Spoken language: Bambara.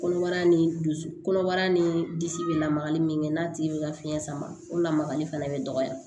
Kɔnɔbara ni dusu kɔnɔbara ni disi bɛ lamagali min kɛ n'a tigi bɛ ka fiɲɛ sama o lamagali fana bɛ dɔgɔya